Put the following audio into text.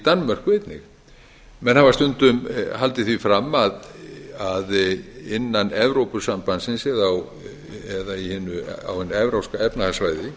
danmörku einnig menn hafa stundum haldið því fram að innan evrópusambandsins eða á hinu evrópska efnahagssvæði